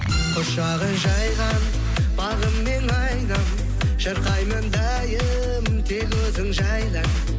құшағы жайған бағым мен айнам шырқаймын дайым тек өзің жайна